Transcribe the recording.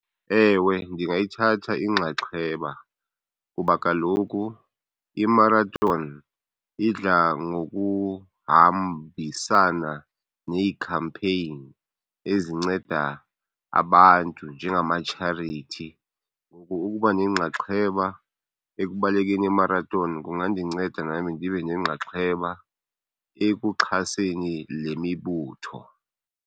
Ewe ndingayithatha inxaxheba kuba kaloku i-marathon idla ngokuhambisana nee-campaign ezinceda abantu njengama-charity. Ngoku ukuba nenxaxheba ekubalekeni i-marathon kungandinceda nam ndibe nenxaxheba ekuxhaseni le mibutho.